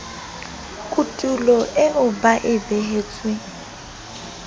kotulo eo ba e behetsweng